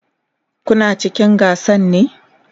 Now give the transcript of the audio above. Kuna cikin gasan ne?